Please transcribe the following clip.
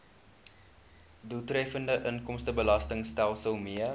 doeltreffende inkomstebelastingstelsel mee